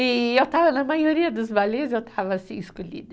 E eu estava na maioria dos balés, eu estava assim, escolhida.